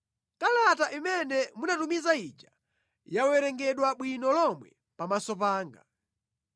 Kalata imene munatumiza ija yawerengedwa bwino lomwe pamaso panga.